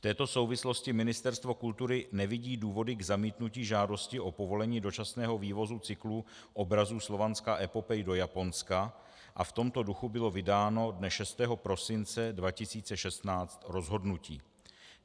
V této souvislosti Ministerstvo kultury nevidí důvody k zamítnutí žádosti o povolení dočasného vývozu cyklu obrazů Slovanská epopej do Japonska a v tomto duchu bylo vydáno dne 6. prosince 2016 rozhodnutí.